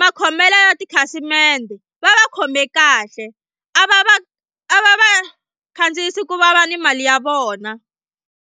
makhomelo ya tikhasimende va va khome kahle a va va a va va khandziyisi ku vava ni mali ya vona.